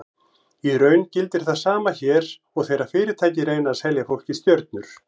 Í raun gildir það sama hér og þegar fyrirtæki reyna að selja fólki stjörnur.